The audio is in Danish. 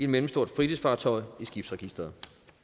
mellemstort fritidsfartøj i skibsregisteret